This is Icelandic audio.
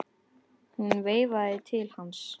Hún veifaði til hans.